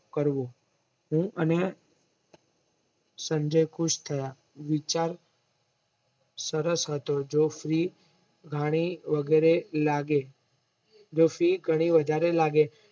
હું અને સંજય ખુશ થયા વિચાર સરસ હતો જો ફ્રી ઘણી વગેરે લાગે જો ફી ઘણી વધારે લાગે